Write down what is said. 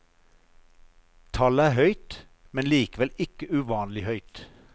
Tallet er høyt, men likevel ikke uvanlig høyt.